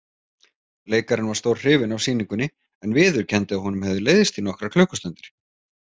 Leikarinn var stórhrifinn af sýningunni en viðurkenndi að honum hefði leiðst í nokkrar klukkustundir.